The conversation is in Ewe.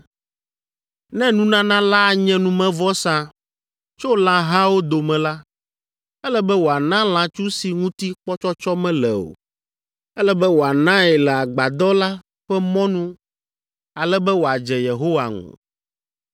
“ ‘Ne nunana la anye numevɔsa tso lãhawo dome la, ele be wòana lãtsu si ŋuti kpɔtsɔtsɔ mele o. Ele be wòanae le agbadɔ la ƒe mɔnu ale be wòadze Yehowa ŋu.